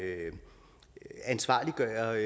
ansvarliggøre